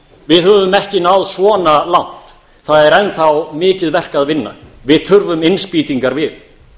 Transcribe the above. við höfum ekki náð svona langt það er enn þá mikið verk að vinna við þurfum innspýtingar við